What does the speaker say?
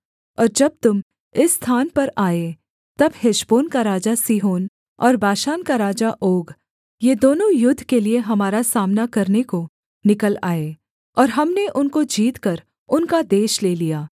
और जब तुम इस स्थान पर आए तब हेशबोन का राजा सीहोन और बाशान का राजा ओग ये दोनों युद्ध के लिये हमारा सामना करने को निकल आए और हमने उनको जीतकर उनका देश ले लिया